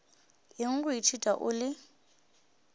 eng go ithuta o le